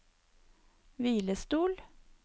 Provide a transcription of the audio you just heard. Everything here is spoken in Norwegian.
hvilestol